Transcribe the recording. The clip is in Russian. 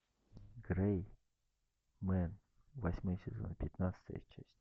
грэй мен восьмой сезон пятнадцатая часть